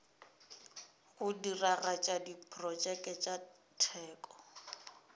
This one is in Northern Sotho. go diragatša diprotšeke tša teko